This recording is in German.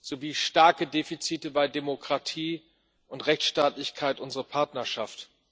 sowie starke Defizite bei Demokratie und Rechtsstaatlichkeit unsere Partnerschaft.